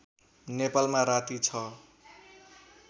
नेपालमा राती ६